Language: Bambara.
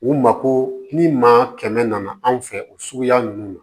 U mako ni maa kɛmɛ nana anw fɛ o suguya ninnu na